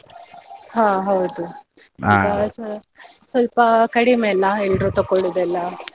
ಹಾ ಹೌದು ಸ್ವಲ್ಪ ಕಡಿಮೆ ಅಲ್ಲ ಎಲ್ರು ತೊಕೊಳುದೆಲ್ಲಾ.